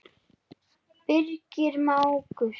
Birgir mágur.